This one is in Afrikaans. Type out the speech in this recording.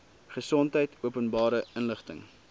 gesondheid openbare inligting